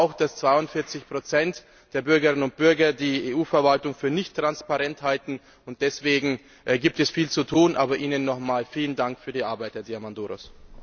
Ich denke aber auch, dass 42 der Bürgerinnen und Bürger die EU Verwaltung für nicht transparent halten, und deswegen gibt es viel zu tun, aber Ihnen noch einmal vielen Dank für Ihre Arbeit, Herr Diamandouros!